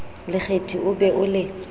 lekgethi o be o le